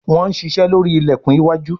Wón ṣiṣe lórí ilẹkùn iwájú.